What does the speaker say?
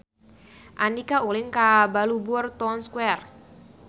Andika ulin ka Balubur Town Square